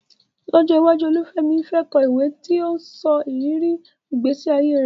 Lọ́jọ́ iwájú, Olúfemi fẹ́ kọ ìwé tí ó ń sọ ìrírí ìgbésí ayé rẹ̀.